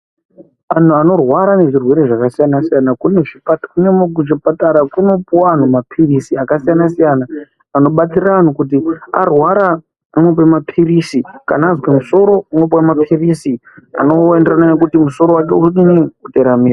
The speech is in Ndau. Anhu anorwara nezvirwere zvakasiyana-siyana kuchipatara kunopuwe anhu maphirisi akasiyana-siyana. Anobatsira vanhu kuti kana arwara anopuwe maphirisi, kana azwe musoro anopuwe maphirisi anoenderana nekuti musoro wacho udini, uteramire.